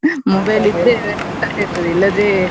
Mobile ಇದ್ರೆ ಊಟ ಸೇರ್ತದೆ ಇಲ್ಲಾದ್ರೆ?